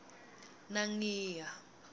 nangiya